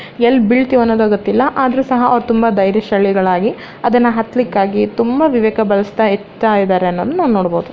L ಬೀಳ್ತೀವೋ ಅನ್ನೋದು ಗೊತ್ತಿಲ್ಲ ಆದ್ರೂ ಸಹ ಅವರು ತುಂಬಾ ಧೈರ್ಯಶಾಲಿಗಳಾಗಿ ಅದುನ್ನ ಅತ್ಲಿಕ್ಕಾಗಿ ತುಂಬಾ ವಿವೇಕ ವಿವೇಕ ಬಳಸ್ದ ಇತ್ತ ಇದ್ದಾರೆ ಅನ್ನೋದನ್ನ ನಾವು ನೋಡಬಹುದು .